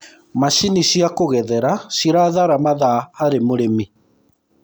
macinĩ cia kugethera cirathara mathaa harĩ marĩmi